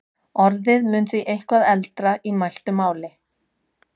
orðið mun því eitthvað eldra í mæltu máli